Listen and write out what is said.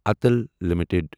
Atul limited